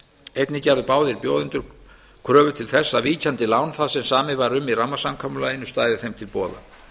einnig gerðu báðir bjóðendur kröfu til þess að víkjandi lán það sem samið var um í rammasamkomulaginu stæði þeim til boða